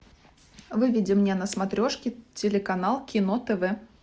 выведи мне на смотрешке телеканал кино тв